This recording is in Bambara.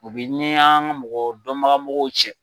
U bi n ni an mɔgɔ dɔnbagamɔgɔw cɛ.